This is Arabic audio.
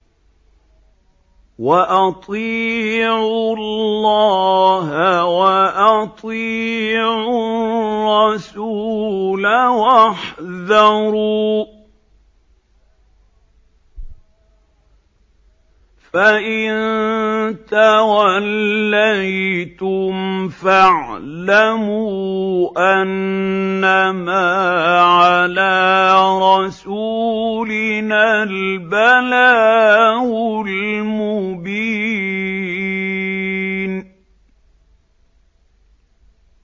وَأَطِيعُوا اللَّهَ وَأَطِيعُوا الرَّسُولَ وَاحْذَرُوا ۚ فَإِن تَوَلَّيْتُمْ فَاعْلَمُوا أَنَّمَا عَلَىٰ رَسُولِنَا الْبَلَاغُ الْمُبِينُ